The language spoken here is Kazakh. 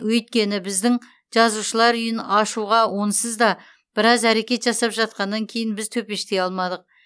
өйткені біздің жазушылар үйін ашуға онсыз да біраз әрекет жасап жатқаннан кейін біз төпештей алмадық